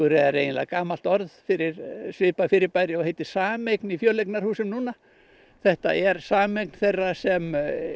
er eiginlega gamalt orð fyrir svipað fyrirbæri og heitir sameign í fjöleignarhúsum núna þetta er sameign þeirra sem